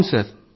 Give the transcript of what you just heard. చెప్పండి సార్